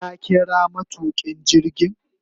Ka kira matukin jirgin